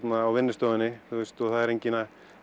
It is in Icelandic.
á vinnustofunni og enginn að